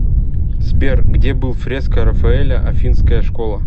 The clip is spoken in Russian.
сбер где был фреска рафаэля афинская школа